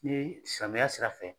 Ni ye silamɛya sira fɛ.